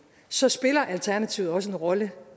så spiller alternativet også en rolle